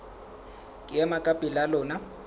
ke ema ka pela lona